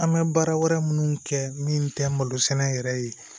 An bɛ baara wɛrɛ minnu kɛ min tɛ malosɛnɛ yɛrɛ ye